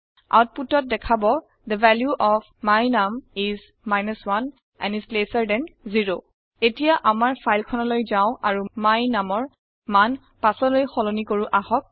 আওতপুতত দেখাব the value of my num is 1 and is lesser than 0 এতিয়া আমাৰ file খনলৈ যাওঁ আৰু my num ৰ মান ৫লৈ সলনি কৰো আহক